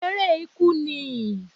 èrẹ ikú nií